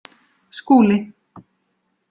Skúli